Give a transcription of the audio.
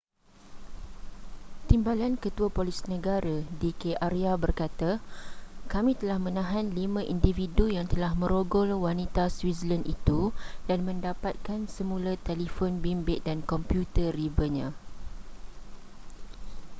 timbalan ketua polis negara d k arya berkata kami telah menahan lima individu yang telah merogol wanita switzerland itu dan mendapatkan semula telefon bimbit dan komputer ribanya